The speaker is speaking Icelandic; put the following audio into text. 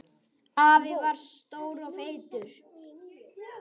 Afi var stór og feitur.